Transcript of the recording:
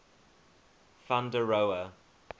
van der rohe